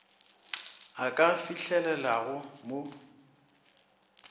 a ka e fihlelelago mo